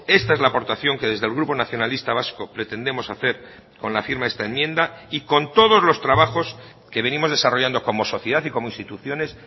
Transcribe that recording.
esta es la aportación que desde el grupo nacionalista vasco pretendemos hacer con la firma de esta enmienda y con todos los trabajos que venimos desarrollando como sociedad y como instituciones